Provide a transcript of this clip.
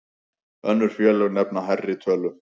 Önnur félög nefna hærri tölu.